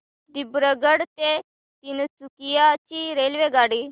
दिब्रुगढ ते तिनसुकिया ची रेल्वेगाडी